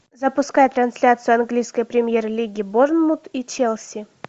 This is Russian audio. запускай трансляцию английской премьер лиги борнмут и челси